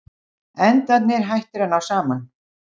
Endarnir hættir að ná saman.